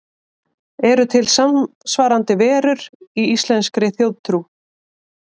Eru til samsvarandi verur í íslenskri þjóðtrú?